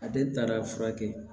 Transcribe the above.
A den taara furakɛ